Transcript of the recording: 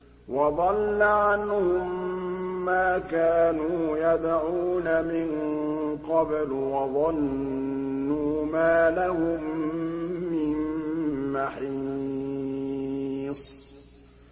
وَضَلَّ عَنْهُم مَّا كَانُوا يَدْعُونَ مِن قَبْلُ ۖ وَظَنُّوا مَا لَهُم مِّن مَّحِيصٍ